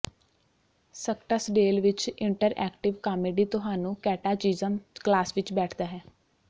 Scottsdale ਵਿੱਚ interactive comedy ਤੁਹਾਨੂੰ catechism class ਵਿੱਚ ਬੈਠਦਾ ਹੈ